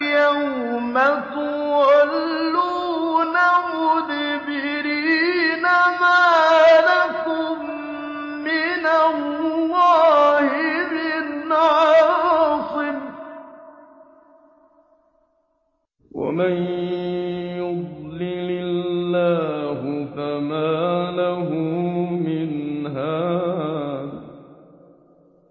يَوْمَ تُوَلُّونَ مُدْبِرِينَ مَا لَكُم مِّنَ اللَّهِ مِنْ عَاصِمٍ ۗ وَمَن يُضْلِلِ اللَّهُ فَمَا لَهُ مِنْ هَادٍ